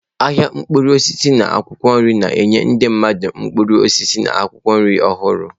Ahịa mkpụrụ osisi na akwụkwọ nri na-enye ndị mmadụ mkpụrụ osisi na akwụkwọ nri ọhụru.